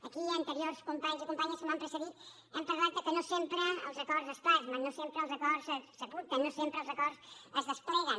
aquí anteriors companys i companyes que m’han precedit hem parlat que no sempre els acords es plasmen no sempre els acords s’apunten no sempre els acords es despleguen